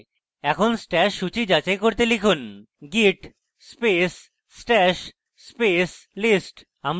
এখন stash সূচী যাচাই করতে লিখুন git space stash space list